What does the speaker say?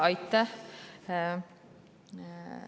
Aitäh!